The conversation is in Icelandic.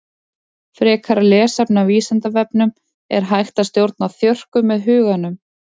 Frekara lesefni á Vísindavefnum Er hægt að stjórna þjörkum með huganum?